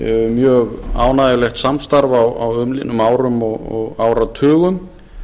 mjög ánægjulegt samstarf á umliðnum árum og áratugum